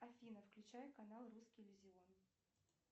афина включай канал русский иллюзион